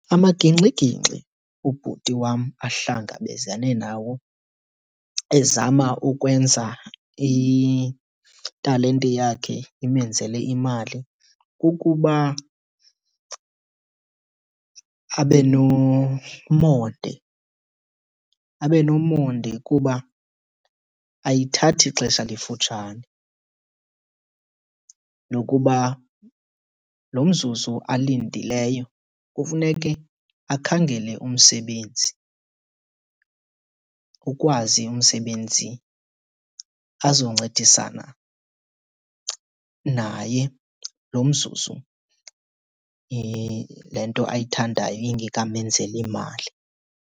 Amagingxigingxi ubhuti wam ahlangabezane nawo ezama ukwenza italente yakhe imenzele imali kukuba abe nomonde, abe nomonde kuba ayithathi xesha lifutshane. Nokuba lo mzuzu alindileyo kufuneke akhangele umsebenzi ukwazi umsebenzi azoncedisana naye lo mzuzu le nto ayithandayo ingekamenzeli mali.